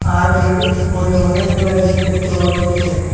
আর এর উপরে অনেকগুলা জিনিস দেখতে পাওয়া যাইতেসে।